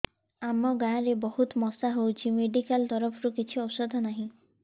ଆମ ଗାଁ ରେ ବହୁତ ମଶା ହଉଚି ମେଡିକାଲ ତରଫରୁ କିଛି ଔଷଧ ନାହିଁ